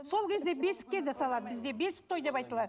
сол кезде бесікке де салады бізде бесік той деп айтылады